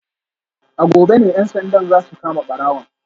A gobe ne ‘yan sandan za su kama barawon